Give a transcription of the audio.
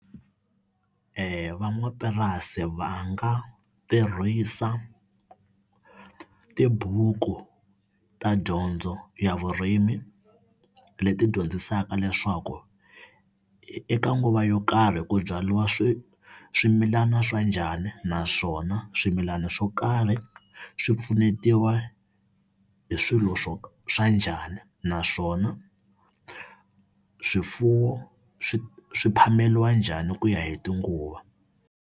Van'wamapurasi va nga tirhisa tibuku ta dyondzo ya vurimi leti dyondzisaka leswaku eka nguva yo karhi ku byariwa swimilana swa njhani, naswona swimilana swo karhi swi pfunetiwa hi swilo swo swa njhani, naswona swifuwo swi swi phameriwa njhani hi ku ya hi tinguva.